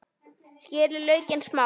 Skerið laukinn smátt.